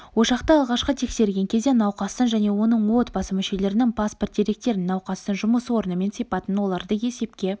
ошақты алғашқы тексерген кезде науқастың және оның отбасы мүшелерінің паспорт деректерін науқастың жұмыс орны мен сипатын оларды есепке